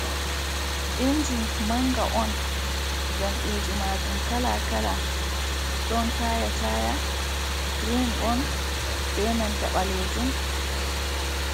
Inji manga on. Jamɗeji majum kala-kala ɗon taya-taya girin on be nanta ɓalejum.